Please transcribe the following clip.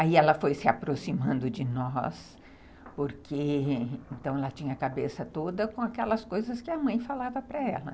Aí ela foi se aproximando de nós, porque ela tinha a cabeça toda com aquelas coisas que a mãe falava para ela.